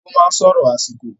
Ago máa n sọrọ àsìkò.